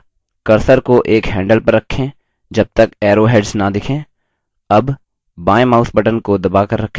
अगला cursor को एक handles पर रखें जबतक arrowhead न दिखें